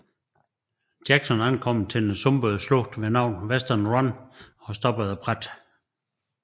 Jackson ankom til den sumpede slugt ved navn Western Run og stoppede brat